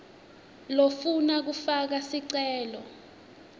lofuna kufaka sicelo